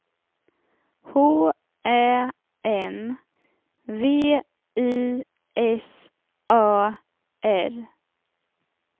H Ä N V I S A R